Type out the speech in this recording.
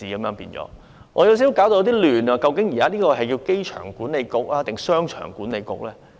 我感到有少許混淆，究竟這是機場管理局還是"商場管理局"呢？